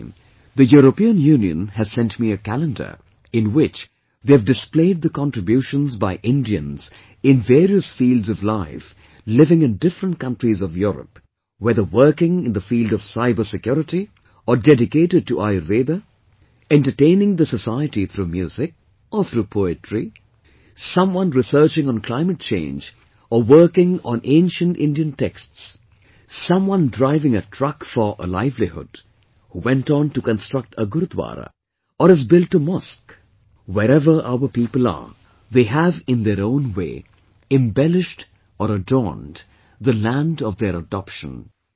This time, the European Union, has sent me a calendar, in which they have displayed the contributions by Indians in various fields of life living in different countries of Europe; whether working in the field of cyber security, or dedicated to Ayurveda, entertaining the society through music, or through poetry; someone researching on climate change or working on ancient Indian texts, someone driving a truck for livelihood, who went on to construct a Gurudwara or has built a mosque wherever our people are, they have in their own way embellished or adorned the land of their adoption